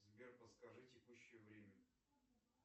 сбер подскажи текущее время